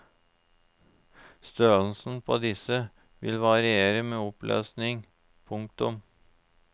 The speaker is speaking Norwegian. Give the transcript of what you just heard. Størrelsen på disse vil variere med oppløsningen. punktum